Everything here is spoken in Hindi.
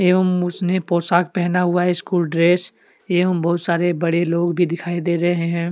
एवं उसने पोशाक पहना हुआ है स्कूल ड्रेस एवं बहुत सारे बड़े लोग भी दिखाई दे रहे हैं।